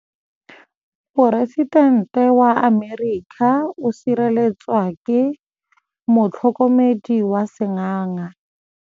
Poresitêntê wa Amerika o sireletswa ke motlhokomedi wa sengaga.